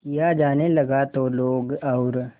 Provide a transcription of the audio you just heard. किया जाने लगा तो लोग और